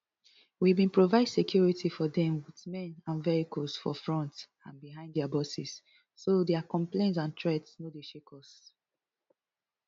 we bin provide security for dem with men and vehicles for front and behind dia buses so dia complaints and threats no dey shake us